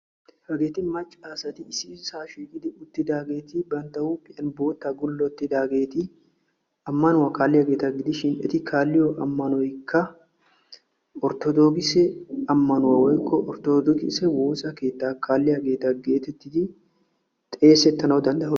Hagetti maca asatta bootta maayidaagetti amannuwa kaalliyagetta gidishin etti kaalliyo ammanoy orttodookisse woosa keetta geetettes.